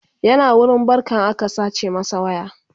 yana wurin barkan aka sace masa waya